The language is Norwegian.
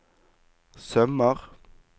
sømmer